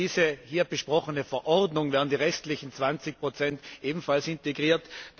Durch diese hier besprochene Verordnung werden die restlichen 20 ebenfalls integriert.